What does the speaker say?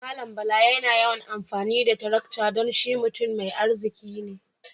Mallam Bala yana yawan amfani da tarakta dan shi mutam mai arziki ne.